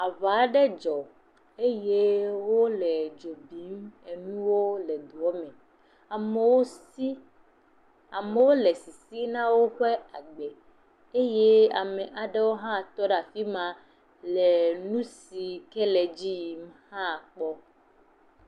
Aŋa aɖe dzɔ eye wole dzo bim enuwo le duɔ me. Amewo si, amewo le sisim na woƒe agbe eye ame aɖewo hã tɔ afi ma le nu si ke le dziyim hã kpɔm.